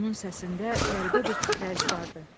Onun səsində qəribə bir titrəyiş vardı.